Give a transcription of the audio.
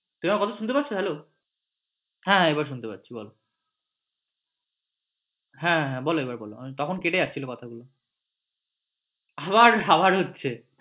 তুমি আমার কথা শুনতে পাচ্ছ? hello হ্যাঁ এবার শুনতে পাচ্ছি বল হ্যাঁ বল এবার বল তখন কেটে যাচ্ছিলো কথাগুলো আবার আবার হচ্ছে